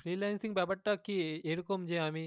freelancing ব্যাপার টা এরকম যে আমি,